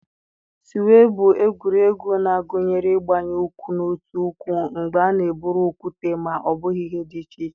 suwe bụ egwuregwu na-agụnye ịgbanye ụkwụ n'otu ụkwụ mgbe a na-eburu okwute ma ọ bụ ihe dị iche iche.